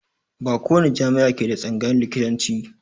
Ba ko wani jami'a ke da tsangayan likitanci